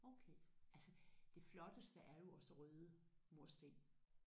Okay. Altså det flotteste er jo også røde mursten